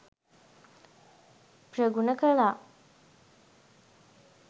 ප්‍රගුණ කළා